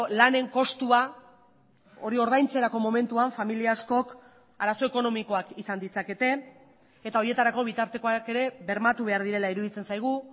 lanen kostua hori ordaintzerako momentuan familia askok arazo ekonomikoak izan ditzakete eta horietarako bitartekoak ere bermatu behar direla iruditzen zaigu